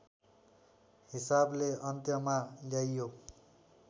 हिसाबले अन्त्यमा ल्याइयो